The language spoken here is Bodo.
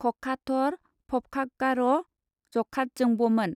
खखाथर फफखागखार' जखादजोंमबोन।